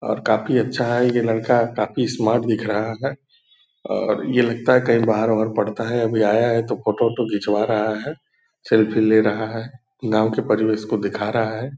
और काफ़ी अच्छा है यह लड़का काफ़ी स्मार्ट दिख रहा है और यह लगता है कहीं बाहर - उअर पढ़ता है अभी आया है तो फ़ोटो - ओटो खिंचवा रहा है सेल्फी ले रहा है गाँव के परिवेष को दिखा रहा है ।